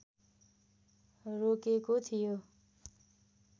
रोकेको थियो